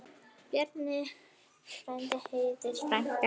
Bjarni frændi, Herdís frænka.